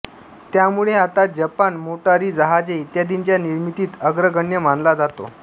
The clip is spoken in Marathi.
त्यामुळे आता जपान मोटारीजहाजे इत्यादींच्या निर्मितीत अग्रगण्य मानला जातो